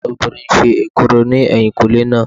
Ẹ̀gbọ́n mi obìnrin ń ṣe èkuru ní ẹ̀yìnkùnlé náà